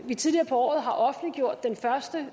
vi tidligere på året har offentliggjort den første